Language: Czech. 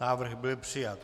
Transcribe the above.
Návrh byl přijat.